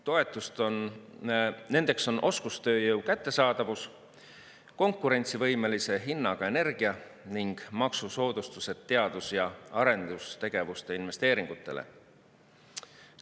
Nendeks on oskustööjõu kättesaadavus, konkurentsivõimelise hinnaga energia ning maksusoodustused teadus‑ ja arendustegevuse investeeringutele.